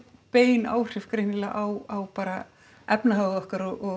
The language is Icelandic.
bein áhrif greinilega á bara efnahag okkar og